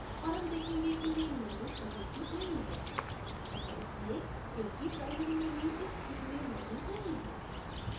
और हम देखेंगे कि main menu कहीं भी नहीं है ऐसा इसलिए क्योंकि primary menu इस theme में मौजूद नहीं है